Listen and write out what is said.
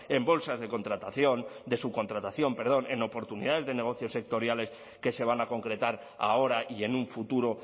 en bolsas de contratación de subcontratación perdón en oportunidades de negocios sectoriales que se van a concretar ahora y en un futuro